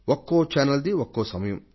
ఒక్కో ఛానల్ ది ఒక్కో సమయం